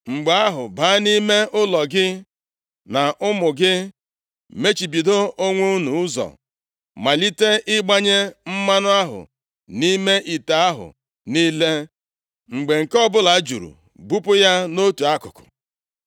Mgbe ahụ, baa nʼime ụlọ, gị na ụmụ gị, mechibido onwe unu ụzọ. Malite ịgbanye mmanụ ahụ nʼime ite ahụ niile, mgbe nke ọbụla juru, bupụ ya nʼotu akụkụ.”